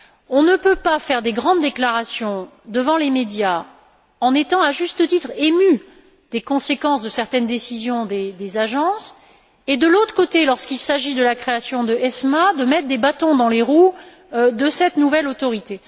On ne peut pas faire des grandes déclarations devant les médias en étant, à juste titre, ému des conséquences de certaines décisions des agences et, par ailleurs, lorsqu'il s'agit de la création de ESMA, mettre des bâtons dans les roues de cette nouvelle autorité.